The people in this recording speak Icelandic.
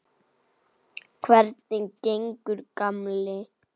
Hvernig gengur, gamli